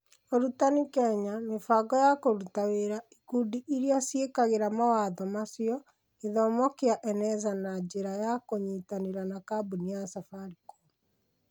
Ũrutani Kenya, Mĩbango ya kũruta wĩra: Ikundi iria ciĩkagĩra mawatho macio: Gĩthomo kĩa Eneza na na njĩra ya kũnyitanĩra na kabuni ya Safaricom.